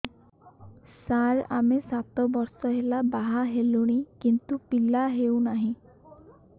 ସାର ଆମେ ସାତ ବର୍ଷ ହେଲା ବାହା ହେଲୁଣି କିନ୍ତୁ ପିଲା ହେଉନାହିଁ